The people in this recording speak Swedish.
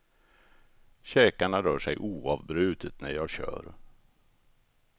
Käkarna rör sig oavbrutet när jag kör.